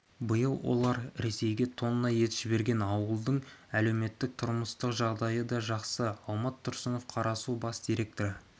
биыл олар ресейге тонна ет жіберген ауылдың әлеуметтік-тұрмыстық жағдайы да жақсы алмат тұрсынов қарасу бас директоры